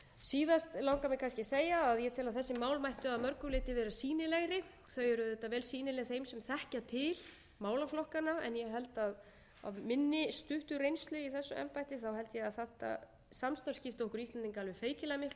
síðast langar mig kannski að segja að ég tel að þessi mál mættu að mörgu leyti vera sýnilegri þau eru auðvitað vel sýnileg þeim sem þekkja til málaflokkanna en af minni stuttu reynslu í þessu embætti held ég að þetta samstarf skipti okkur íslendinga alveg feikilega miklu máli þetta eru